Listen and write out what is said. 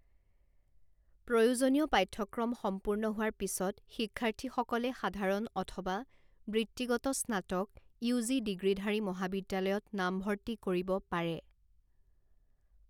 প্ৰয়োজনীয় পাঠ্যক্ৰম সম্পূৰ্ণ হোৱাৰ পিছত শিক্ষাৰ্থীসকলে সাধাৰণ অথবা বৃত্তিগত স্নাতক ইউ জি ডিগ্ৰীধাৰী মহাবিদ্যালয়ত নামভৰ্তি কৰিব পাৰে।